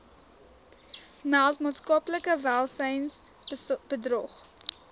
meld maatskaplike welsynsbedrog